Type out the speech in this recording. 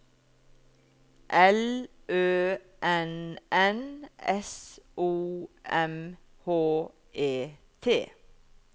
L Ø N N S O M H E T